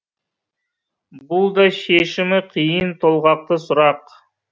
бұл да шешімі қиын толғақты сұрақ